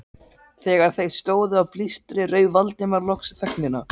Þegar þeir stóðu á blístri rauf Valdimar loks þögnina.